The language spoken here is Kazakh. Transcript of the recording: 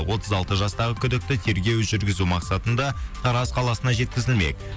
отыз алты жастағы күдікті тергеу жүргізу мақсатында тараз қаласына жеткізілмек